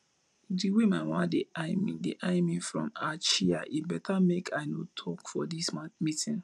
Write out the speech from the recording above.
the way my mama dey eye me dey eye me from her chair e better make i no talk for dis meeting